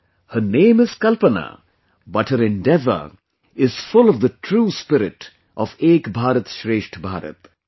Her name is Kalpana, but her endeavor is full of the true spirit of 'Ek Bharat Shreshtha Bharat'